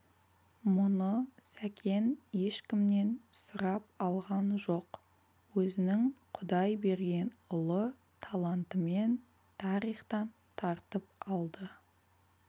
мұны сәкен ешкімнен сұрап алған жоқ өзінің құдай берген ұлы талантымен тарихтан тартып алды